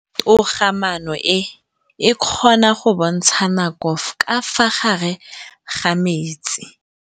Toga-maanô e, e kgona go bontsha nakô ka fa gare ga metsi.